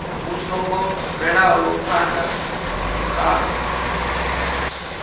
vhu songo bvelaho phana kha